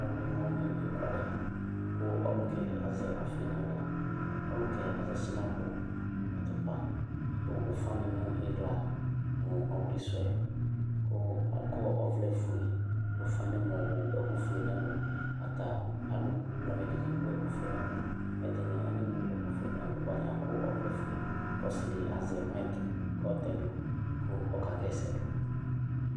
alʋwʋini wani ekʋalɛ kʋ ɔlʋkayɛ azɛ ɔƒi naɣla ɔlʋkɛ azɛ shinapʋ atʋpa adʋ ʋƒani nʋ iɣla mʋ ɔwlisʋɛ kʋ akɔ ɔvlɛ ƒʋe dʋ ʋƒani nɛmɔɔ wʋ ɛkʋƒʋe nɛlʋ ataalʋ blamɛ dini ewʋ ɛkʋƒʋe nɛlʋ ɛdini anewʋ ɛkʋ nɛlʋ alʋ bʋa atani akɔ ɔvlɛƒʋe kʋ ɔsidi azɛ NA kʋ ɔtɛdʋ kʋ ɔkaha ɛsɛdʋ